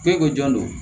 Ko e ko jɔn don